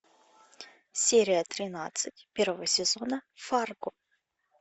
серия тринадцать первого сезона фарго